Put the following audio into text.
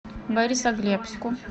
борисоглебску